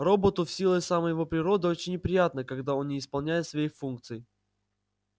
роботу в силу самой его природы очень неприятно когда он не исполняет своих функций